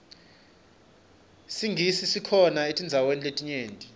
singisi sikhona etindzaweni letinyenti